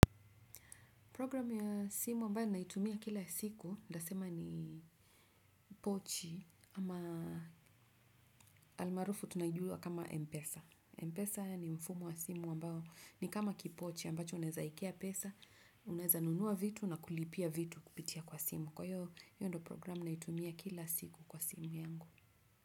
Program ya simu ambayo naitumia kila siku, nitasema ni pochi ama almaarufu tunaijua kama Mpesa. Mpesa ni mfumo wa simu ambao ni kama kipochi ambacho unwezaekea pesa, uneza nunua vitu na kulipia vitu kupitia kwa simu. Kwa hiyo, hiyo ndio programu ninayoitumia kila siku kwa simu yangu.